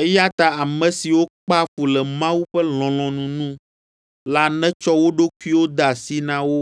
Eya ta ame siwo kpea fu le Mawu ƒe lɔlɔ̃nu nu la netsɔ wo ɖokuiwo de asi na wo